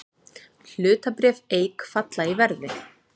Hlutabréf Eik falla í verði